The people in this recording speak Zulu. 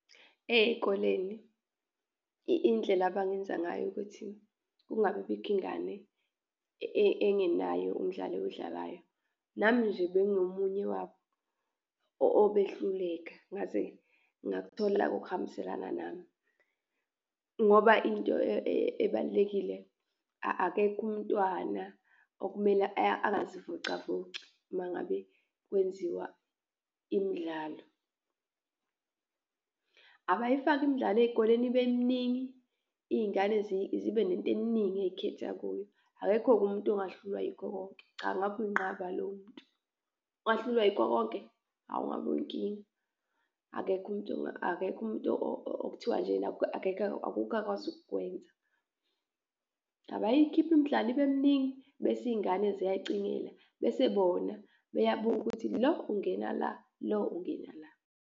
Eyikoleni indlela abangenza ngayo ukuthi kungabi bikho ingane engenayo umdlalo ewudlalayo, nami nje bengingomunye wabo obehluleka, ngaze ngakuthola okuhambiselana nami ngoba into ebalulekile, akekho umntwana okumele angazivocavoci uma ngabe kwenziwa imidlalo. Abayifake imidlalo ey'koleni ibe miningi, iyingane zibe nento eningi eyikhetha kuyo. Akekho-ke umuntu ongahlulwa yikho konke, cha, ngabe uyinqaba lowo muntu. Ongahlulwa yikho konke? Hawu, ngabe uyinkinga, akekho umuntu akekho umuntu okuthiwa nje akekho akukho akwazi ukukwenza. Abayikhiphe imdlalo ibe miningi, bese iy'ngane ziyayicingela bese bona beyabuka ukuthi lo ungena la, lo ungena la.